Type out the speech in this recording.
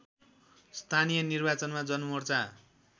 स्थानीय निर्वाचनमा जनमोर्चा